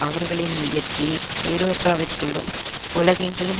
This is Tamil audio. அவர்களின் முயற்சி ஐரோப்பாவிற்குள்ளும் உலகெங்கிலும்